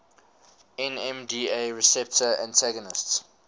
nmda receptor antagonists